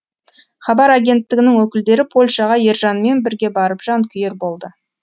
хабар агенттігінің өкілдері польшаға ержанмен бірге барып жанкүйер болды